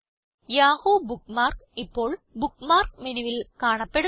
Yahoo bookmark ഇപ്പോൾ bookmark മെനുവിൽ കാണപ്പെടുന്നു